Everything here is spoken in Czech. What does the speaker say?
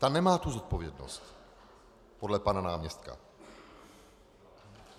Ta nemá tu zodpovědnost podle pana náměstka.